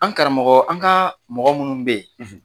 An karamɔgɔ an ka mɔgɔ munnu bɛ ye.